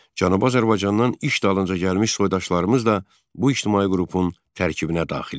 Cənubi Azərbaycandan iş dalınca gəlmiş soydaşlarımız da bu ictimai qrupun tərkibinə daxil idi.